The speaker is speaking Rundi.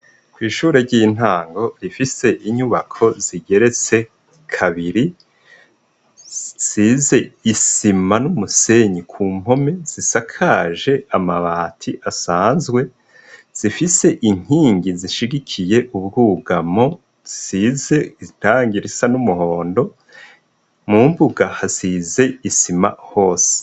Kwishure ryintango rifise inyubko zigeretse kabiri zisize isima numusenyi ku mpome zisakaje amabati asanzwe , zifise inkingi zishigikiye ubwugamo zisize irangi risa numuhondo, mu mbuga hasize isima hose.